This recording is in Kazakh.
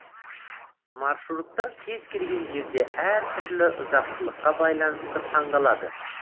маршруттар кез келген жерде әр түрлі ұзақтылыққа байланысты таңдалады